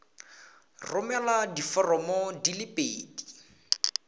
romela diforomo di le pedi